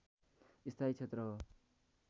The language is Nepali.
स्थायी क्षेत्र हो